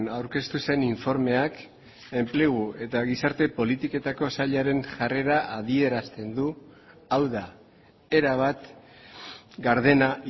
aurkeztu zen informeak enplegu eta gizarte politiketako sailaren jarrera adierazten du hau da erabat gardena